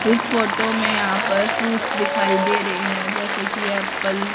इस फोटो में यहां पर फ्रूट्स दिखाई दे रहे हैं जैसे कि एप्पल --